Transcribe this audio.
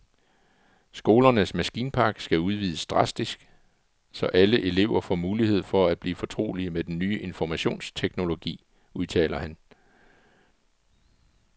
Skolernes maskinpark skal udvides drastisk, så alle elever får mulighed for at blive fortrolige med den ny informationsteknologi, udtaler han.